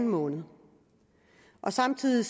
måned samtidig